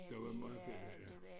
Der var mange bella ja